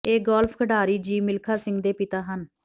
ਇਹ ਗੌਲਫ ਖਿਡਾਰੀ ਜੀਵ ਮਿਲਖਾ ਸਿੰਘ ਦੇ ਪਿਤਾ ਹਨ